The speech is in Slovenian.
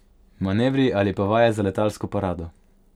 Manevri ali pa vaje za letalsko parado ...